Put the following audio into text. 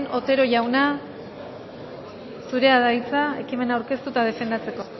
otero jauna zurea da hitza ekimena aurkeztu eta defendatzeko